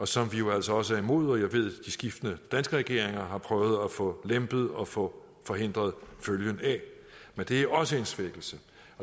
som vi jo altså også er imod og som jeg ved de skiftende danske regeringer har prøvet at få lempet og få forhindret følgen af men det er også en svækkelse